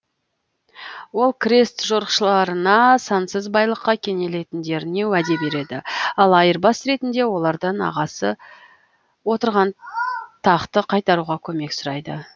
ол крест жорықшыларына сансыз байлыққа кенейлетіндеріне уәде береді ал айырбас ретінде олардан ағасы отырған тақты қайтаруға көмек сұрайды